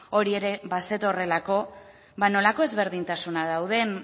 hori ere bazetorrelako nolako ezberdintasunak dauden